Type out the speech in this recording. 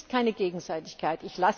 Es ist keine Gegenseitigkeit.